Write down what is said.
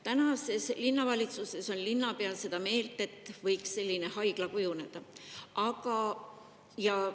Tänases linnavalitsuses on linnapea seda meelt, et sellise haigla võiks.